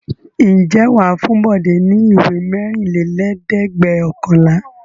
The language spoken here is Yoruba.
Ǹjẹ́ wà á fún Bọ̀dé ní ìwé mẹ́rìnlélẹ́ẹ̀dẹ́gbẹ̀ọ̀kànlá?